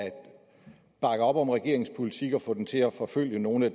bakke op om regeringens politik og få den til at forfølge nogle af